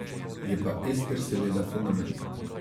Je pa Ester seveda fenomen.